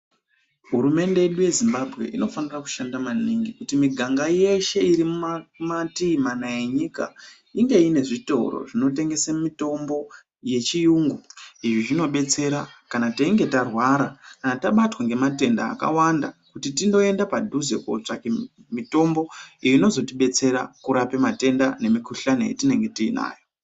Hurumente yedu yeZimbabwe inofane kushanda maningi kuti miganga yeshe irimumativi mana enyika inge inezvitoro zvinotengese mitombo yechiyungu .Izvi zvinobetsera kana teinge tarwara ,kana tabatwa nematenda akawanda kuti tindoenda padhuze kotsvaka mitombo iyo inozotidetsera kurape matenda nemikuhlani yatinenge tiinayo.